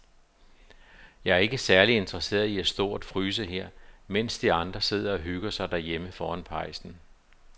Jeg er ikke særlig interesseret i at stå og fryse her, mens de andre sidder og hygger sig derhjemme foran pejsen.